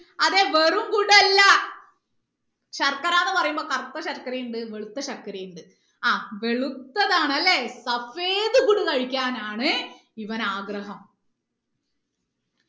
അതെ വെറും അല്ല ശർക്കര എന്ന് പറയുമ്പോ കറുത്ത ശർക്കര ഉണ്ട് വെളുത്ത ശർക്കര ഉണ്ട് ആ വെളുത്തതാണ് അല്ലേ കഴിക്കാനാണ് ഇവന് ആഗ്രഹം